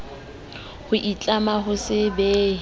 o itlama ho se behe